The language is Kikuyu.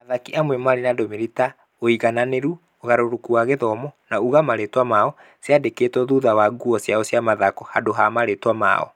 Athaki amwe marĩ na ndũmĩrĩri ta "ũigananĩru" "ũgarũrũku wa gĩthomo" na "uga marĩĩtwa mao" ciandĩkĩtwo thutha wa nguo ciao cia mathako handũ ha marĩĩtwa mao.